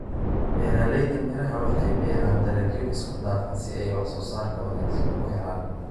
Beeralayda miraha waxay beeraan dalagyo isku-dhafan si ay wax-soosaar wanaagsan u helaan.